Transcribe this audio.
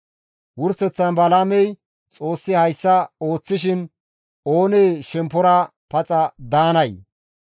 Wurseththan Balaamey, «Xoossi hayssa ooththishin oonee shemppora paxa daanay?